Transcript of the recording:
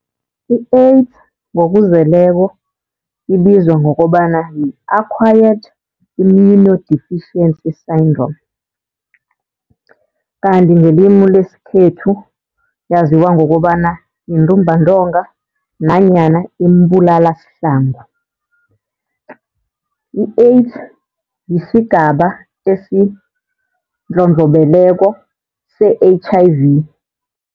I-AIDS ngokuzeleko ibizwa ngokobana yi-Acquired immunodeficiency syndrome. Kanti ngelimu leskhethu yaziwa ngokobana yintumbantonga nanyana imbulalashlangu. I-AIDS yisigaba esindlondlobeleko se-H_I_V.